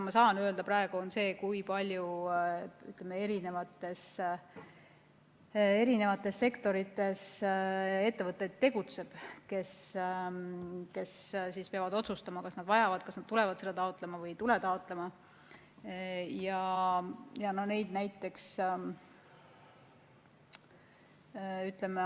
Ma saan öelda praegu seda, kui palju tegutseb eri sektorites ettevõtteid, kes peavad otsustama, kas nad vajavad, kas nad tulevad seda taotlema või ei tule taotlema.